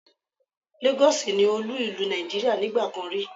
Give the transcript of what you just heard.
Lagos ni olú ìlú Nàìjíríà nígbà kan rí